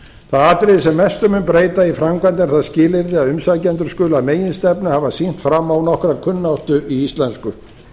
það atriði sem mestu mun breyta í framkvæmd er það skilyrði að umsækjendur skuli að meginstefnu hafa sýnt fram á nokkra kunnáttu í íslensku